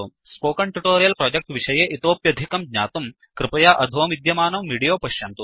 spoken tutorial project विषये इतोप्यधिकं ज्ञातुं कृपया अधो विद्यमानं विडीयो पश्यन्तु